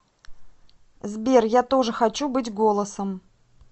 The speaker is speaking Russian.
сбер я тоже хочу быть голосом